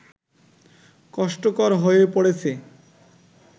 কষ্টকর হয়ে পড়েছে